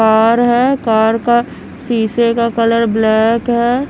Car है car का शीशे का कलर ब्लैक है।